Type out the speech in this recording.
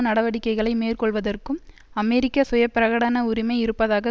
நடவடிக்கைகளை மேற்கொள்வதற்கும் அமெரிக்கா சுயபிரகடன உரிமை இருப்பதாக